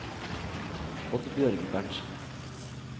Oddbjørg Berntzen